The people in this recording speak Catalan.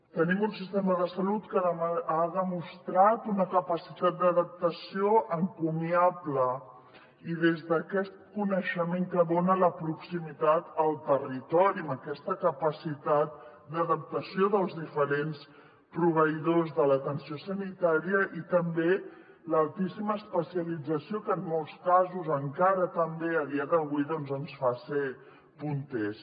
tenim un sistema de salut que ha demostrat una capacitat d’adaptació encomiable i des d’aquest coneixement que dona la proximitat al territori amb aquesta capacitat d’adaptació dels diferents proveïdors de l’atenció sanitària i també l’altíssima especialització que en molts casos encara també a dia d’avui doncs ens fa ser punters